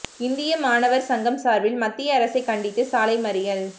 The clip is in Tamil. இந்திய மாணவர் சங்கம் சார்பில் மத்திய அரசைக் கண்டித்து சாலை மறியல்